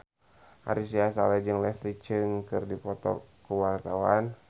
Ari Sihasale jeung Leslie Cheung keur dipoto ku wartawan